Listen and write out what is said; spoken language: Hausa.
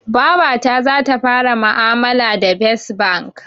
Babata zata fara ma'amaka da fes bank